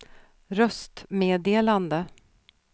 röstmeddelande